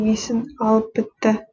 есін алып бітті